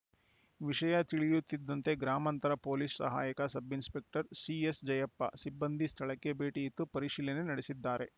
ವಿಷಯ ತಿಳಿಯುತ್ತಿದ್ದಂತೆ ಗ್ರಾಮಾಂತರ ಪೊಲೀಸ್‌ ಸಹಾಯಕ ಸಬ್‌ ಇನ್ಸ್‌ಪೆಕ್ಟರ್‌ ಸಿಎಸ್‌ಜಯಪ್ಪ ಸಿಬ್ಬಂದಿ ಸ್ಥಳಕ್ಕೆ ಭೇಟಿಯಿತ್ತು ಪರಿಶೀಲನೆ ನಡೆಸಿದ್ದಾರೆ